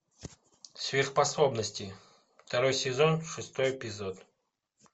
сверхспособности второй сезон шестой эпизод